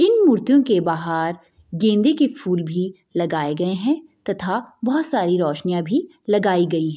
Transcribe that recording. इन मूर्तियों के बाहर गेंदे के फूल भी लगाए गए है। तथा बोहोत सारी रौशनियाँ अभी लगाई गई है।